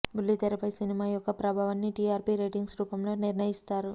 బుల్లి తెరపై సినిమా యొక్క ప్రభావాన్ని టీఆర్పీ రేటింగ్స్ రూపంలో నిర్ణయిస్తారు